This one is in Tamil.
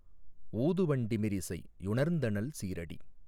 ஊது வண்டிமிரிசை யுணர்ந்தனள் சீறடி